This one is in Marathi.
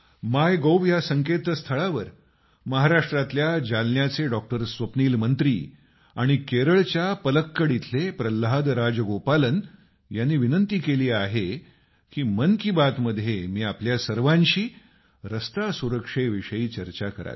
माय गोव्ह या संकेतस्थळावर महाराष्ट्रातल्या जालन्याचे डॉक्टर स्वप्नील मंत्री आणि केरळच्या पलक्कड इथले प्रल्हाद राजगोपालन यांनी आग्रह केला आहे की मन की बात मध्ये मी आपल्या सर्वांशी रस्ते सुरक्षेविषयी चर्चा करावी